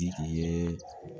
Ye